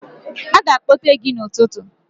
Aga akpọte gị n'ụtụtụ.